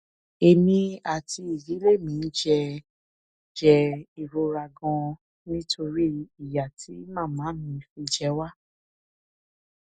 èmi àti ìdílé mi ń jẹ jẹ ìrora ganan nítorí ìyà tí màmá mi fi jẹ wá